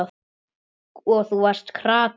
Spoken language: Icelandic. Og þú varst krati.